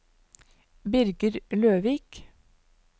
Birger Løvik